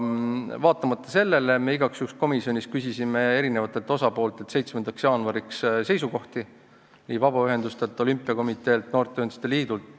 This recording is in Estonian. Vaatamata sellele me igaks juhuks komisjonis küsisime 7. jaanuariks seisukohti eri osapooltelt: vabaühendustelt, olümpiakomiteelt, noorteühenduste liidult.